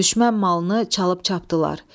Düşmən malını çalıb çapdılar.